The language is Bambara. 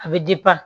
A bɛ